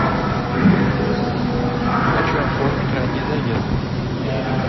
хочу оформить ранний заезд